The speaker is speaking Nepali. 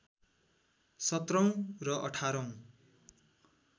१७ औँ र १८ औँ